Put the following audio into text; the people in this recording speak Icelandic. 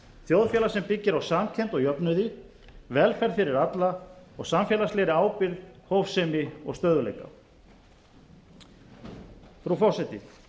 þjóðfélag sem byggir á samkennd og jöfnuði velferð fyrir alla og samfélagslegri ábyrgð hófsemi og stöðugleika frú forseti